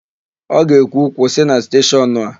Ọ ga-ekwu, "kwụsị na steshọnụ a"!